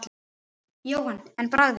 Jóhann: En bragðið?